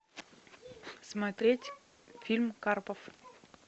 смотреть фильм карпов